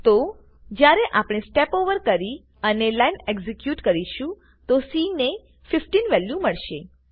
તો જયારે આપણે સ્ટેપ ઓવર કરી અને લાઈન એક્ઝેક્યુટ કરીશું તો સી ને 15 વેલ્યુ મળશે